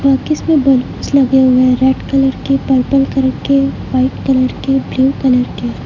मे balloons लगे हुए हैं रेड कलर के पर्पल कलर के व्हाइट कलर के ब्लू कलर के।